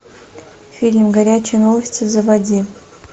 фильм горячие новости заводи